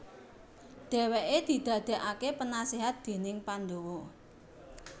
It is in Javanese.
Dhèwèké didadèkaké penaséhat déning Pandawa